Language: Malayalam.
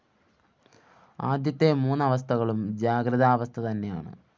ആദ്യത്തെ മൂന്നവസ്ഥകളും ജാഗ്രദാവസ്ഥ തന്നെയാണ്